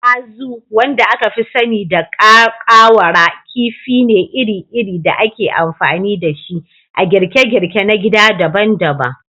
Azu, wanda aka fi sani da ƙawara, kifi ne iri-iri da ake amfani da shi a girke-girke na gida daban-daban